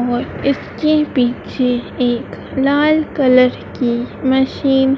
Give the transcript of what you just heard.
और इसके पीछे एक लाल कलर की मशीन